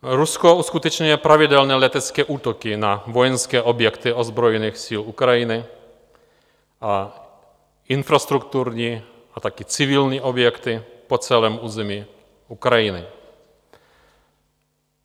Rusko uskutečňuje pravidelné letecké útoky na vojenské objekty ozbrojených sil Ukrajiny a infrastrukturní a také civilní objekty po celém území Ukrajiny.